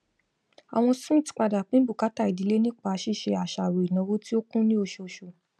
àwọn smiths padà pín bùkátà ìdílé nípa ṣíṣe àṣàrò ìnáwó tí ó kún ni oṣooṣù